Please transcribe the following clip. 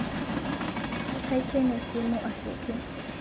Kaikene simu asioki